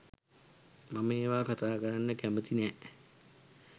මම ඒවා කතා කරන්න කැමති නැ.